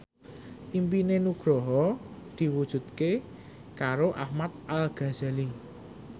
impine Nugroho diwujudke karo Ahmad Al Ghazali